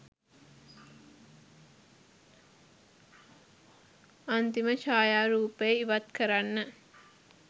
අන්තිම ඡායා රූපය ඉවත් කරන්න.